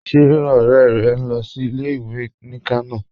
Ṣé ọ̀rẹ́ rẹ̀ ń lọ sí ilẹ̀-ìwé ní Kànò?